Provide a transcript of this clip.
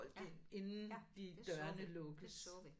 Ja ja det så vi det så vi